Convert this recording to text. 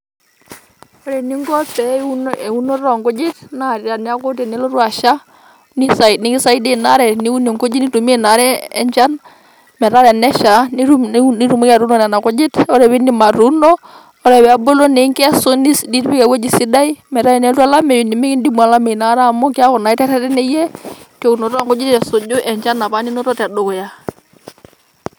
Ore ening'o te eunoto oo ngujit naa tenelotu asha neis nikisaidia ina are teniun enkujita nintumiya ena are enchan metaa ore tenesha nitum niun nitumoki atuuno Nena kujit ore pee iidip atuuno ore pee bulu ningesu nipik ewuji sidai metaa tenolotu olameyu nemeikidimu alameyu Ina Kata Amu keeku naa iterretene iyie tounoto ok nkujit eimu apa enchan ninoto te dukuya.